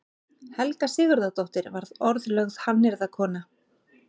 Helga Sigurðardóttir varð orðlögð hannyrðakona.